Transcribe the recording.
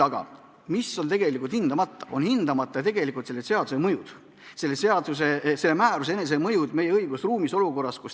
Samas on tegelikult hindamata selle seaduse mõju, selle määruse rakendamise mõju meie õigusruumis.